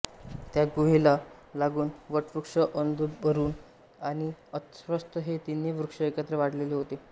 त्या गुहेला लागून वटवृक्ष औदुंबर आणि अश्वत्थ हे तिन्ही वृक्ष एकत्र वाढलेले होते